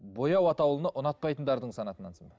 боя атаулыны ұнатпайтындардың санатынансың ба